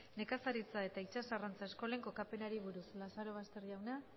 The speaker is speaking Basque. nekazaritza eta itsas arrantza eskolen kokapenari buruz lazarobaster jauna